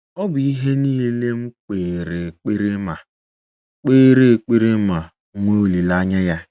Ọ bụ ihe niile m kpere ekpere ma kpere ekpere ma nwee olileanya ya.